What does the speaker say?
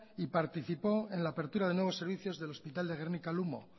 y participó en la apertura de nuevos servicios del hospital de gernika lumo